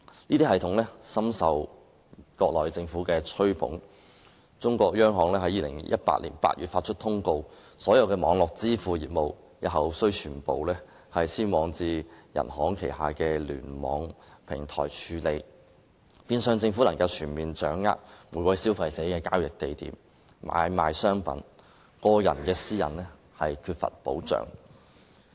這些系統深受國內政府吹捧，中國央行更於2018年8月發出通告，所有網絡支付業務日後須全部改由中國央行旗下的聯網平台處理，政府因此變相能夠全面掌握與消費者交易地點和買賣商品有關的資訊，個人私隱因而更缺乏保障。